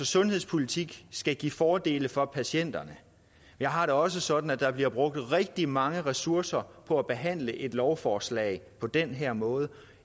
sundhedspolitik skal altså give fordele for patienterne jeg har det også sådan at der bliver brugt rigtig mange ressourcer på at behandle et lovforslag på den her måde